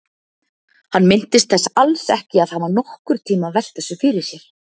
Hann minntist þess alls ekki að hafa nokkurntíma velt þessu fyrir sér.